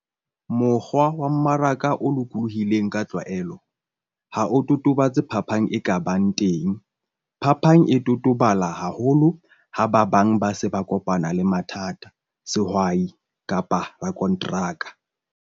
Mokgwa wa mmaraka o lokolohileng ka tlwaelo ha o totobatse phapang e ka bang teng. Phapang e totobala haholo ha ba bang ba se ba kopane le mathata - sehwai kapa rakonteraka.